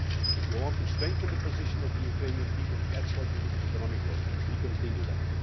If you want to strengthen the position of the Ukrainian people that is what you need, economic growth, and we continue that.